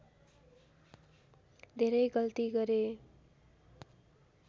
धेरै गल्ती गरे